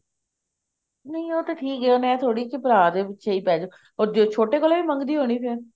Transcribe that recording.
ਨਹੀਂ ਉਹ ਤੇ ਠੀਕ ਹੈ ਏਵੇਂ ਥੋੜੀ ਭਰਾ ਦੇ ਪਿੱਛੇ ਹੀ ਪੇਜੇ ਅੱਗੇ ਛੋਟੇ ਕੋਲੋਂ ਵੀ ਮੰਗਦੀ ਹੋਣੀ ਫ਼ੇਰ